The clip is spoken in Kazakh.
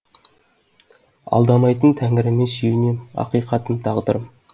алдамайтын тәңіріме сүйенем ақиқатым тағдырым